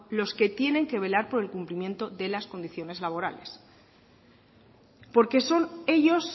los que tienen que velar por el cumplimiento de las condiciones laborales porque son ellos